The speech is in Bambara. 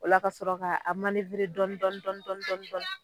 O la ka sɔrɔ ka a manewere dɔni dɔni dɔni dɔni